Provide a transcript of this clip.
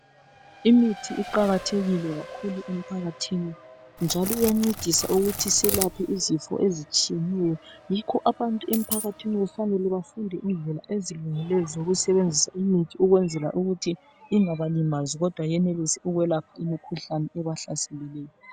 Imithi iqakathekile kakhulu emphakathini njalo iyancedisa ukuthi selaphe isifo ezitshiyeneyo yikho abantu emphakathini kufanele befunde indlela esilungileyo zokusebenzisa imithi ukwenzela ukuthi ingabalimazi kodwa yenelise ukwelepha imikhuhlane ebahlaseleyo.